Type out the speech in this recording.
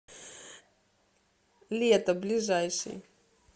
лето ближайший